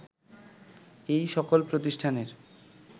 এ সকল প্রতিষ্ঠানের